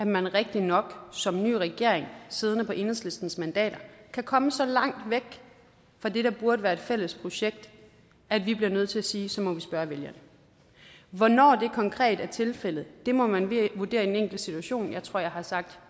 man rigtig nok som ny regering siddende på enhedslistens mandater kan komme så langt væk fra det der burde være et fælles projekt at vi bliver nødt til at sige at så må vi spørge vælgerne hvornår det konkret er tilfældet må man vurdere i den enkelte situation jeg tror jeg har sagt